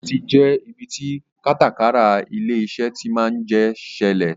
Ọ́fíìsì jẹ ibi tí kátàkárà ilé-iṣẹ́ tí máa ń jẹ ṣẹlẹ̀